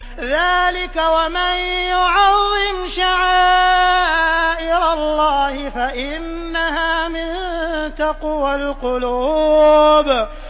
ذَٰلِكَ وَمَن يُعَظِّمْ شَعَائِرَ اللَّهِ فَإِنَّهَا مِن تَقْوَى الْقُلُوبِ